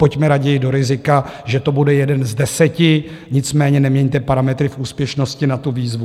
Pojďme raději do rizika, že to bude jeden z deseti, nicméně neměňte parametry v úspěšnosti na tu výzvu.